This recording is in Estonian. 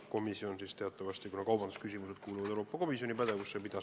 Komisjon pidas neid läbirääkimisi.